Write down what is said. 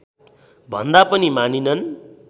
भन्दा पनि मानिनन्